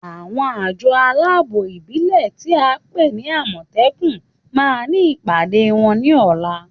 Àwọn àjọ aláàbò ìbílè tí a ńpè ní àmòtékù ma ní ìpàdé wọn ní ọ̀lá